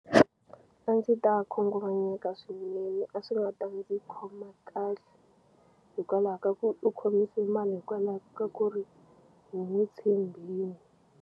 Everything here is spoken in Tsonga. A ndzi ta khunguvanyeka swinene a swi nga ta ndzi khoma kahle hikwalaho ka ku u khomise mali hikwalaho ka ku ri hi n'wi tshembi.